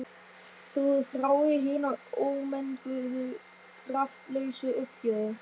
Þú þráir hina ómenguðu kraftlausu uppgjöf.